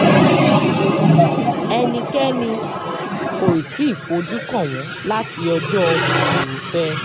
ẹnikẹ́ni kò tí ì fojú kàn wọ́n láti ọjọ́ furuufé